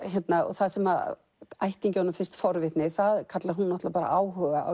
það sem ættingjunum finnst forvitni það kallar hún náttúrulega bara áhuga á